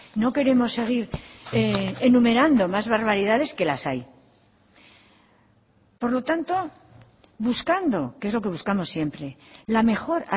no queremos seguir enumerando más barbaridades que las hay por lo tanto buscando que es lo que buscamos siempre la mejor